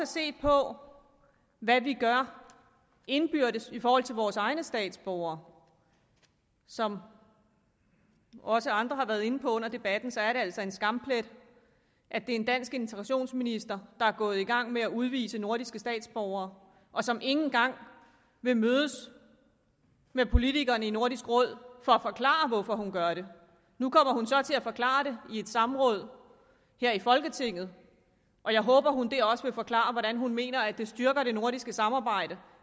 set på hvad vi gør indbyrdes i forhold til vores egne statsborgere som også andre har været inde på under debatten er det altså en skamplet at det er en dansk integrationsminister der er gået i gang med at udvise nordiske statsborgere og som ikke engang vil mødes med politikerne i nordisk råd for at forklare hvorfor hun gør det nu kommer hun så til at forklare det i et samråd her i folketinget og jeg håber at hun dér også vil forklare hvordan hun mener at det styrker det nordiske samarbejde